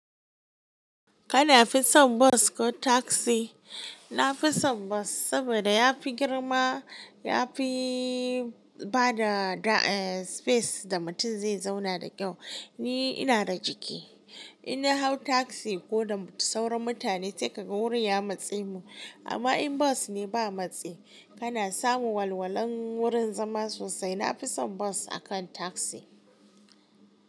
Kana fi son bas ko taksi? Nafi son bas sabida yafi girma, yafi bada space da mutum zai zauna da kyau. Ni ina da jiki, in na hau taksi ko da sauran mutane sai kaga wurin ya matse mu, amma in bas ne ba matsi, kana samun walwalan wurin zama sosai. Na fi son bas akan taksi.